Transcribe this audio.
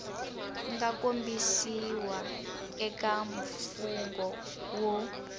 nga kombisiwa eka mfungho wu